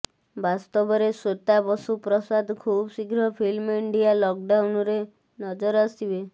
ବାସ୍ତବରେ ଶ୍ବେତା ବସୁ ପ୍ରସାଦ ଖୁବଶୀଘ୍ର film India lockdown ରେ ନଜର ଆସିବେ